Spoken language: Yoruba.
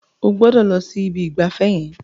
Ó gbọdọ̀ lọ si ibi ìgbafẹ́ yẹn.